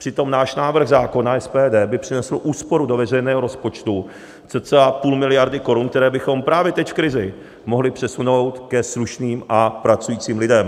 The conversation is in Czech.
Přitom náš návrh zákona SPD by přinesl úsporu do veřejného rozpočtu cca půl miliardy korun, které bychom právě teď v krizi mohli přesunout ke slušným a pracujícím lidem.